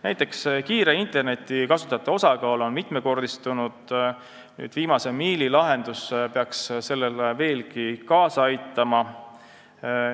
Näiteks on kiire interneti kasutajate osakaal mitmekordistunud ja viimase miili lahendus peaks sellele veelgi kaasa aitama.